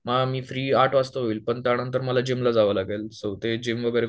मग मी फ्री आठ वाजता होईल पण त्या नंतर मला जिम ला जावं लागेल सो जिम वगैरे